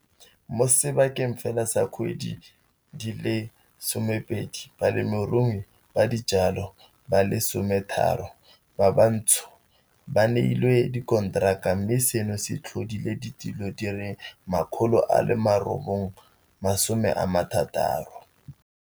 Mo sebakanyaneng fela sa dikgwedi di le 12, balemirui ba dijalo ba le 13 ba bantsho ba neilwe dikonteraka mme seno se tlhodile ditiro di le 960.